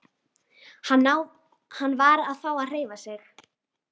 Hann varð að fá að hreyfa sig.